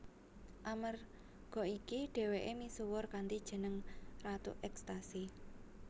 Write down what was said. Amerga iki dhèwèké misuwur kanthi jeneng ratu ekstasi